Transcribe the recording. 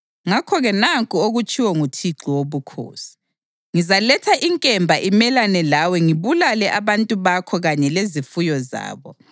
Ngakho-ke nanku okutshiwo nguThixo Wobukhosi: Ngizaletha inkemba imelane lawe ngibulale abantu bakho kanye lezifuyo zabo.